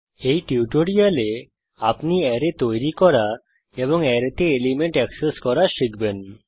এই টিউটোরিয়ালে আপনি অ্যারে তৈরী করা এবং অ্যারেতে এলিমেন্ট এক্সেস করা শিখবেন